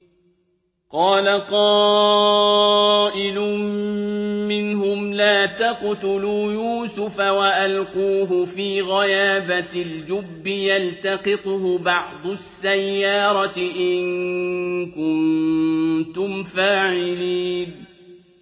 قَالَ قَائِلٌ مِّنْهُمْ لَا تَقْتُلُوا يُوسُفَ وَأَلْقُوهُ فِي غَيَابَتِ الْجُبِّ يَلْتَقِطْهُ بَعْضُ السَّيَّارَةِ إِن كُنتُمْ فَاعِلِينَ